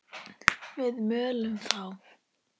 Við mölum þá!